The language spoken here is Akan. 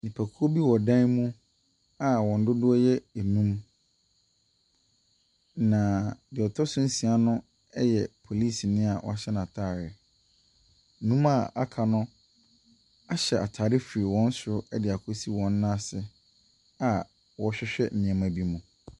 Nnipakuo bi wɔ dan mu a wɔn dodoɔ yɛ num. Na deɛ ɔtɔ so nsia no, yɛ polisini a wɔahyɛ n'ataareɛ. Num a aka no, Hyɛ ataare firi wɔn soro de kɔsi wɔn ase a wɔrehwehwɛ nneɛma bi mu.